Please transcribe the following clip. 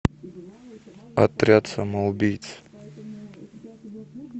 отряд самоубийц